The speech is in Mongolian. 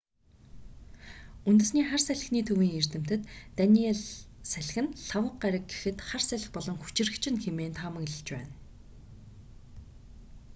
үндэсний хар салхины төвийн эрдэмтэд даниелл салхи нь лхагва гараг гэхэд хар салхи болон хүчирхэгжинэ хэмээн таамаглаж байна